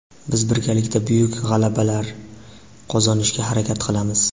Biz birgalikda buyuk g‘alabalar qozonishga harakat qilamiz.